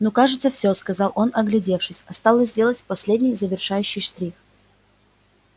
ну кажется всё сказал он оглядевшись осталось сделать последний завершающий штрих